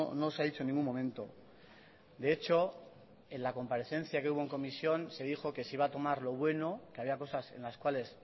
no se ha dicho en ningún momento de hecho en la comparecencia que hubo en comisión se dijo que se iba a tomar lo bueno que había cosas en las cuales